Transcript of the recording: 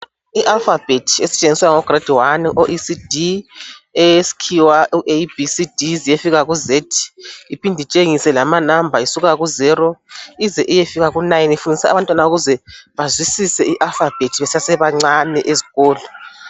I'Alphabet" esetshenziswa ngabo "grade 1",o"ECD" eyesikhiwa u"ABCD" ize iyefika ku"Z" iphinde itshengise lama"number" isuka ku "zero" ize iyefika ku"nine".Ifundisa abantwana ukuze bazwisise i"alphabet" besase bancane eskolo.